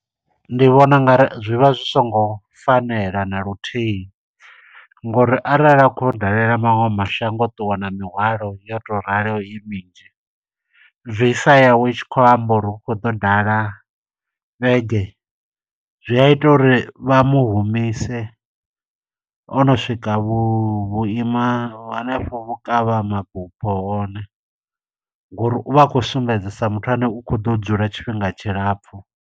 Ndi vhona ungari zwi vha zwi songo fanela na luthihi, ngo uri arali a khou ya u dalela maṅwe mashango o ṱuwa na mihwalo yo to ralo i minzhi. Visa yawe i tshi khou amba uri u khou ḓa u dala vhege. Zwi a ita uri vha mu humise o no swika vho vhuima hanefho vhukavha mabufho hone. Ngo uri uvha a khou sumbedza sa muthu ane u khou ḓo dzula tshifhinga tshilapfu.